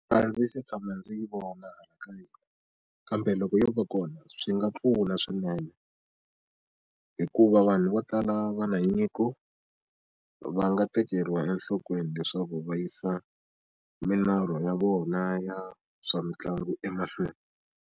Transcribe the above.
A ndzi se tshama ndzi yi vona hakanyingi kambe loko yo va kona swi nga pfuna swinene hikuva vanhu vo tala va na nyiko va nga tekeriwa enhlokweni leswaku va yisa milorho ya vona ya swa mitlangu emahlweni.